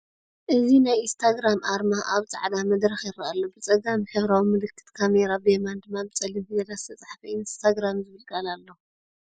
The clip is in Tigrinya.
እዚ ናይ ኢንስታግራም ኣርማ ኣብ ጻዕዳ መድረኽ ይርአ ኣሎ፤ ብጸጋም ሕብራዊ ምልክት ካሜራ፡ ብየማን ድማ ብጸሊም ፊደላት ዝተጻሕፈ ‘ኢንስታግራም’ ዝብል ቃል ኣሎ።